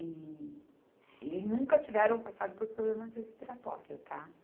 E, e nunca tiveram passado por problemas respiratórios, tá?